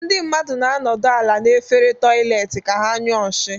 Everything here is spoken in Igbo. Ndị mmadụ na-anọdụ ala n'efere toịletị ka ha nyụọ nshi.